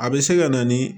A bɛ se ka na ni